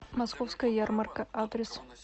московская ярмарка адрес